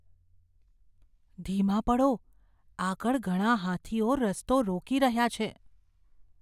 ધીમા પડો. આગળ ઘણા હાથીઓ રસ્તો રોકી રહ્યા છે.